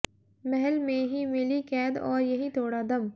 महल में ही मिली कैद और यहीं तोड़ा दम